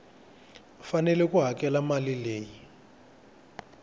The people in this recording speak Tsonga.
fanele ku hakela mali leyi